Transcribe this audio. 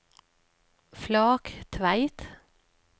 Flaktveit